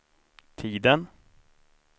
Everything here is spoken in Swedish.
tiden